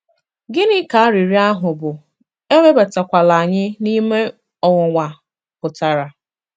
Gịnị ka arịrịọ ahụ bụ́ “ Ewebatakwala anyị n’ime ọnwụnwa ” pụtara?